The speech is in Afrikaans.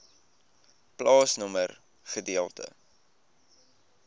plaasnommer gedeelte